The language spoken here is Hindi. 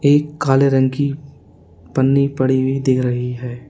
एक काले रंग की पन्नी पड़ी हुई दिख रही है।